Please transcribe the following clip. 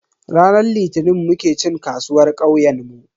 Ranar Litinin muke cin kasuwar kauyenmu.